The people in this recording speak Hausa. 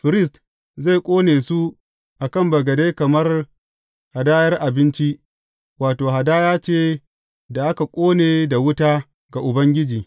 Firist zai ƙone su a kan bagade kamar hadayar abinci, wato, hadaya ce da aka ƙone da wuta ga Ubangiji.